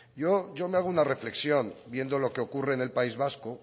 yo me hago una reflexión viendo lo que ocurre en el país vasco